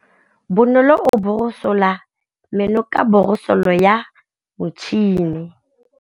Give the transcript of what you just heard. Bonolô o borosola meno ka borosolo ya motšhine.